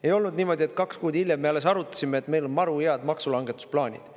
Ei olnud niimoodi, et kaks kuud hiljem me alles arutasime, et meil on maru head maksulangetusplaanid.